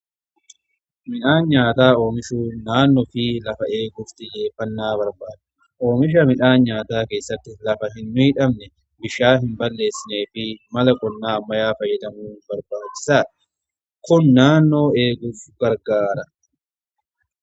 Midhaan nyaataa oomishuun naannoo fi lafa eeguuf xiyyeeffannaa barbaada. Oomisha midhaan nyaataa keessatti lafa hin miidhamne, bishaan hin balleessineefi mala qonnaa ammayyaa fayyadamuu barbaadisaadha. Kun naannoo eeguuf gargaara.